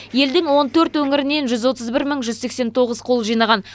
елдің он төрт өңірінен жүз отыз бір мың жүз сексен тоғыз қол жинаған